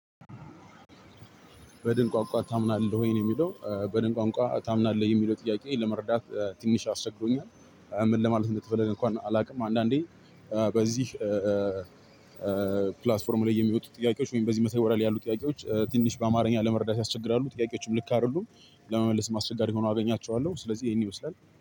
በድንቋንቋ ታምናለህ ወይን የሚለው በድንቋንቋ ታምናለህ የሚለው ጥያቄ? ለመርዳት ትንሽ አስቸግሮኛል ምን ለማለት እንደተፈለገ እንኳን አላውቅም። አንዳንዴ በዚህ ፕላትፎርም ላይ የሚወጡ ጥያቄዎች ወይም በዚህ መሳሪያ ላይ ያሉ ጥያቄዎች ትንሽ በአማርኛ ለመረዳት ያስቸግራሉ ጥያቄዎችም ልክ አይደሉም። ለመመለስ አስቸጋሪ ሁነው አገኛቸዋለሁ ስለዚህ ይሄን ይመስላል